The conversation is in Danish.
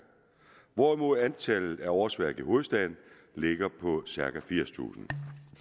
hvorimod antallet af årsværk i hovedstaden ligger på cirka firstusind